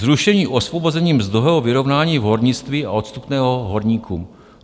Zrušení osvobození mzdového vyrovnání v hornictví a odstupného horníků.